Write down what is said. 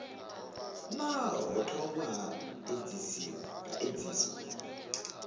naa ho thoma ha edziswa